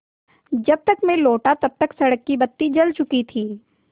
जब तक मैं लौटा तब तक सड़क की बत्ती जल चुकी थी